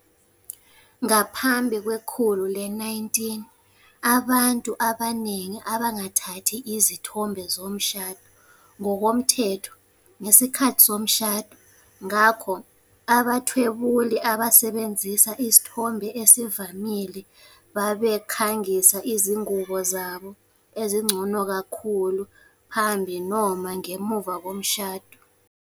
Ngaphambi kwekhulu le-19, abantu abaningi abangathathi izithombe zomshado ngokomthetho ngesikhathi somshado. Ngakho, abathwebuli abasebenzisa isithombe esivamile babekhangisa izingubo zabo ezingcono kakhulu phambi noma ngemuva komshado.